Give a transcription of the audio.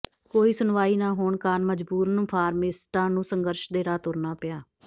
ਕੋਈ ਸੁਣਵਾਈ ਨਾ ਹੋਣ ਕਾਰਨ ਮਜਬੂਰਨ ਫਾਰਮਾਸਿਸਟਾਂ ਨੂੰ ਸੰਘਰਸ਼ ਦੇ ਰਾਹ ਤੁਰਨਾ ਪਿਆ